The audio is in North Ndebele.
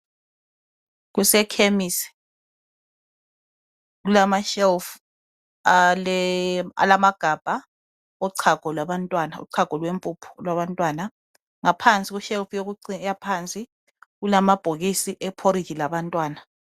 Kusekhemisi kulama shelf alama gabha ochago lwabantwana .Uchago lwempuphu olwabantwana .Ngaphansi ku shelf ephansi kulama bhokisi eporridge labantwana .